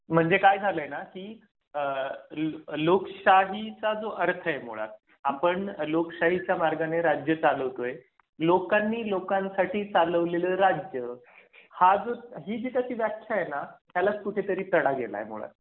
म्हणजे काय झालंय ना की आह लोकशाहीचा जो अर्थ आहे. मुळात आपण लोकशाहीच्या मार्गाने राज्य चालवतोय. लोकांनी लोकांसाठी चालवलेलं राज्य हि जी त्याची व्याख्या आहे ना. त्याला कुठे तरी तडा गेला यामुळे